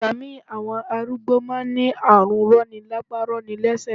Ìgbà mí ì àwọn arúgbó má a n ní àrùn rọni lápá rọni lẹ́sẹ̀